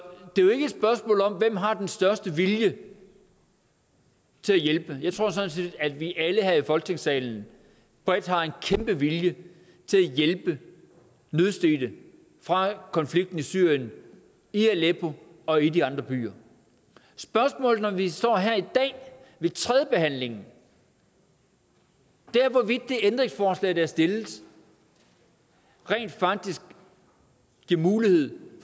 ikke har den største vilje til at hjælpe jeg tror sådan set at vi alle her i folketingssalen bredt har en kæmpe vilje til at hjælpe nødstedte fra konflikten i syrien i aleppo og i de andre byer spørgsmålet når vi står her i dag ved tredjebehandlingen er hvorvidt det ændringsforslag der er stillet rent faktisk giver mulighed